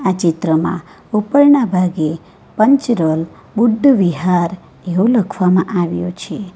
ચિત્રમાં ઉપરનાના ભાગે પંચરલ બુદ્ધવિહાર એવું લખવામાં આવ્યું છે.